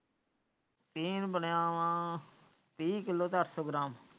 ਟੀਨ ਬਣਿਆ ਵਾ ਤਿਹ ਕਿਲੋ ਸੰਤ ਸੋ ਗ੍ਰਾਮ।